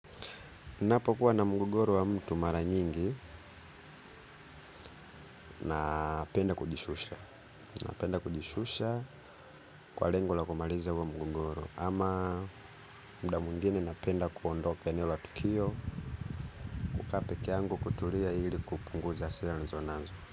Ninapokuwa na mgogoro wa mtu mara nyingi na penda kujishusha. Napenda kujishusha kwa lengo la kumaliza huo mgogoro. Ama muda mwngine napenda kuondoka eneo la tukio kukaa pekee yangu kutulia ili kupunguza hasira niliizonazo.